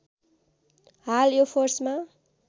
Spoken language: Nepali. हाल यो फोर्समा